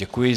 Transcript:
Děkuji.